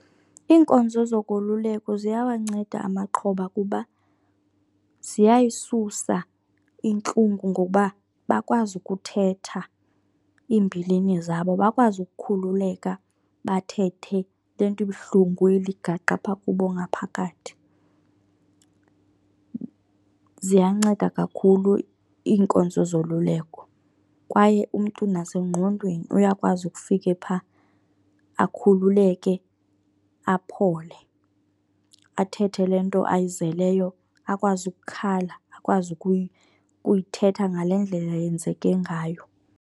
Iinkonzo zokoluleko ziyawanceda amaxhoba kuba ziyayisusa intlungu ngokuba bakwazi ukuthetha iimbilini zabo, bakwazi ukukhululeka bathethe le nto ibuhlungu iligaqa apha kubo ngaphakathi. Ziyanceda kakhulu iinkonzo zoluleko kwaye umntu nasengqondweni uyakwazi ukufike phaa, akhululeke aphole. Athethe le nto ayizeleyo, akwazi ukukhala, akwazi kuyithetha ngale ndlela yenzeke ngayo.